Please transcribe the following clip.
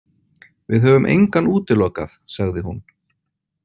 Við höfum engan útilokað, sagði hún.